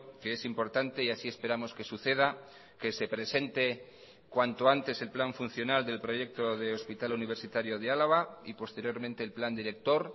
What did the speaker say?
que es importante y así esperamos que suceda que se presente cuanto antes el plan funcional del proyecto de hospital universitario de álava y posteriormente el plan director